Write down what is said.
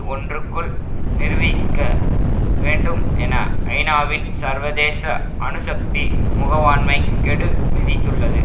ஒன்றுக்குள் நிருபிக்க வேண்டும் என ஐநா வின் சர்வதேச அணுசக்தி முகவாண்மை கெடுவிதித்துள்ளது